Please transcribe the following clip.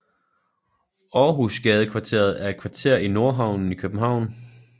Århusgadekvarteret er et kvarter i Nordhavnen i København